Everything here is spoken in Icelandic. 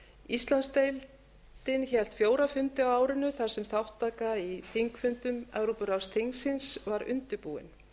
íslandsdeildin hélt fjóra fundi á árinu þar sem þátttaka í þingfundum evrópuráðsþingsins var undirbúin